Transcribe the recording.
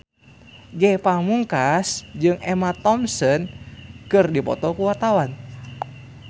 Ge Pamungkas jeung Emma Thompson keur dipoto ku wartawan